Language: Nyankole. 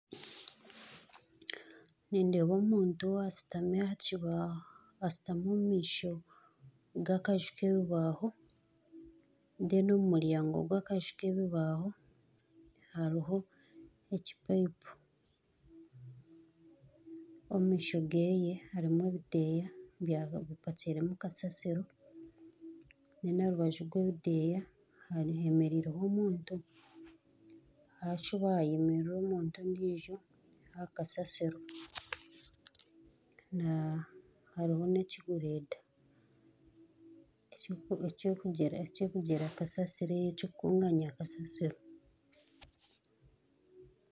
Nindeeba omuntu ou ashutami aha kibaaho ashutami omu maisho g'akaju k'ebibaaho reero omu rubaju rw'akaju k'ebibaaho hariho ekipayipo. Omu maisho ge harimu ebideeya byaba bipakiiremu kasasiro. Reero aha rubaju rw'ebideeya heemereireho omuntu. Hakibayemerera omuntu ondiijo aha kasasiro. Na hariho n'ekigureeda ekikugira kasasiro ekirikukunganya kasasiro.